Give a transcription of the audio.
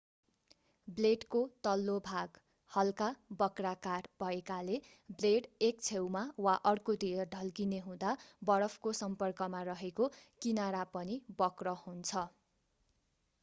ब्लेडको तल्लो भाग हल्का वक्राकार भएकाले ब्लेड एक छेउमा वा अर्कोतिर ढल्किने हुँदा बरफको सम्पर्कमा रेहेको किनरा पनि वक्र हुन्छ